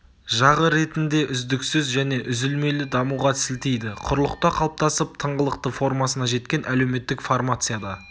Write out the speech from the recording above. жағы ретінде үздіксіз және үзілмелі дамуға сілтейді құрлықта қалыптасып тыңғылықты формасына жеткен әлеуметтік формацияда